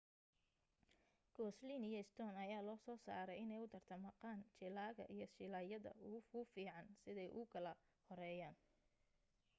goslin iyo stone ayaa loo soo saaray inay u tartamaqn jilaaga iyo jilaayadda ugu fiican siday u kala horeeyaan